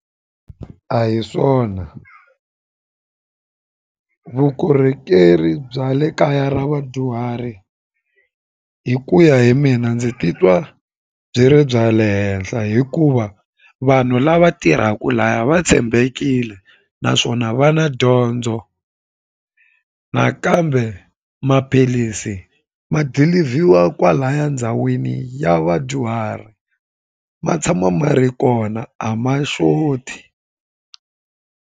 A hi swona vukorhokeri bya le kaya ra vadyuhari hi ku ya hi mina ndzi titwa byi ri bya le henhla hikuva vanhu lava tirhaka laya va tshembekile naswona va na dyondzo nakambe maphilisi ma dilivhiwa kwalaya ndhawini ya vadyuhari ma tshama ma ri kona a ma xoti.